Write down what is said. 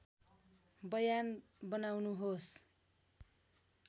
बयान बनाउनुहोस्